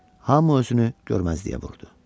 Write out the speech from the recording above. Hamı özünü görməzliyə vurdu.